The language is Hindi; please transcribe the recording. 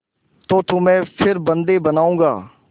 तो तुम्हें फिर बंदी बनाऊँगा